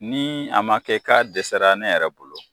Ni a ma kɛ k'a dɛsɛra ne yɛrɛ bolo